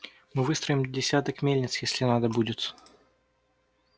мы выстроим десяток мельниц если надо будет